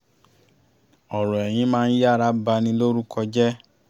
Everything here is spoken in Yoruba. ọ̀rọ̀ ẹ̀yìn máa ń yára ba ni lórúko jẹ́